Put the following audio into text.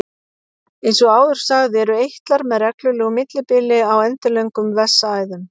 eins og áður sagði eru eitlar með reglulegu millibili á endilöngum vessaæðum